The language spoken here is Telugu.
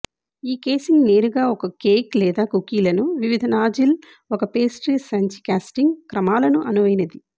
ఈ ఐసింగ్ నేరుగా ఒక కేక్ లేదా కుకీలను వివిధ నాజిల్ ఒక పేస్ట్రీ సంచి కేస్టింగ్ క్రమాలను అనువైనది